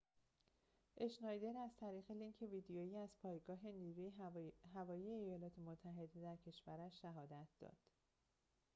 اشنایدر از طریق لینک ویدئویی از پایگاه نیروی هوایی ایالات متحده در کشورش شهادت داد